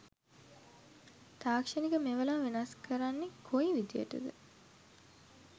තාක්ෂණික මෙවලම් වෙනස් කරන්නෙ කොයි විදියට ද?